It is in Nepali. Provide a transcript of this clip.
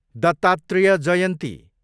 दत्तात्रेय जयन्ती